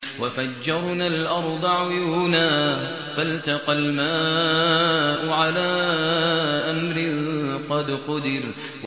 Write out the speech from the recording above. وَفَجَّرْنَا الْأَرْضَ عُيُونًا فَالْتَقَى الْمَاءُ عَلَىٰ أَمْرٍ قَدْ قُدِرَ